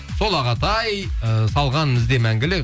сол ағатай ыыы салған ізде мәңгілік